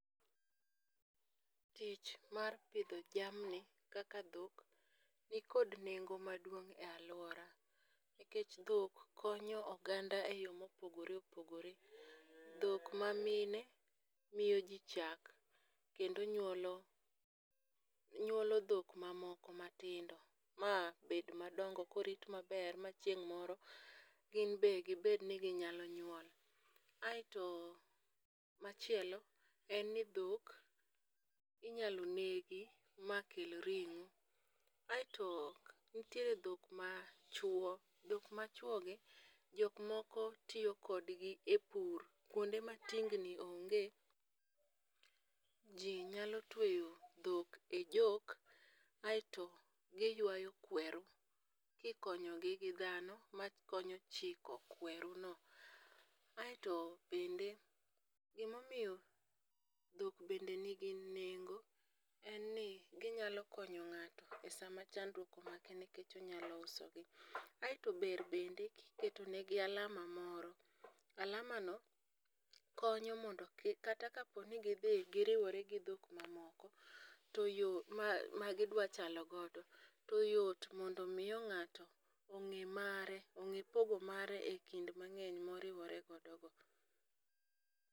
Tich mar pidho jamni kaka dhok nikod nengo maduong' e alwora nikech dhok konyo oganda eyo mopogore opogore. Dhok mamine miyo ji chak kendo nyuolo dhok moko matindo ,mabed madongo korit maber ma chieng' moro gin be gibed ni ginyalo nyuol. Aeto machielo en ni dhok inyalo negi makel ring'o. Aeto nitiere dho machuwo, dhok machwogi, dhok machwogi, jok moko tiyo kodgi e pur, kwonde ma tingni onge, ji nyalo tweyo dhok e jok aeto giywayo kweru, kikonyogi gi dhano makonyo chiko kweruno, aeto bende gimomiyo dhok bende nigi nengo en ni ginyalo konyo ng'ato e sama chandruok omake nikech onyalo usogi, aeto ber bende keto negi alama moro, alama no konyo mondo kik kata kaponi gidhi giriwore gi dhok moko, ma gidwa chalo godo, to yot mondo omi ng'ato ong'e mare, ong'e pogo mare e kind mang'eny moriwore godogo.